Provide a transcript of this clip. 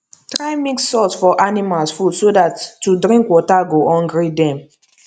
try mix salt for animals food so that to drink water go hungry dem